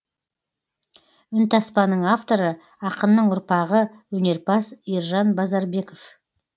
үнтаспаның авторы ақынның ұрпағы өнерпаз ержан базарбеков